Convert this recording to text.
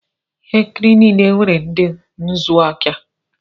Ihe nkiri niile nwere ndị ntụziaka.